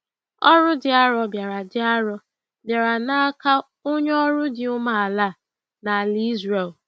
Ọrụ dị arọ bịara dị arọ bịara n’aka onye ọrụ dị umeala a n’ala Ịzrel.